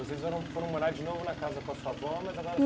E vocês foram foram morar de novo na casa com a sua avó? Mas agora